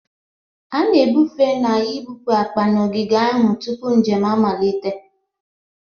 A na-ebufe na ibupu akpa na ogige ahụ tupu njem amalite